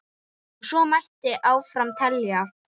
Og svo mætti áfram telja.